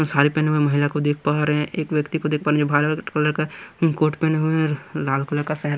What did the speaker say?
सारी पहने हुए महिला को देख पा रहे हैं एक व्यक्ति को देख पा रहे हैं जो भा कलर का कोर्ट पहने हुए हैं लाल कलर का सेहरा --